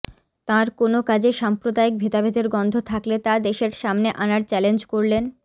তাঁর কোনও কাজে সাম্প্রদায়িক ভেদাভেদের গন্ধ থাকলে তা দেশের সামনে আনার চ্যালেঞ্জ করলেন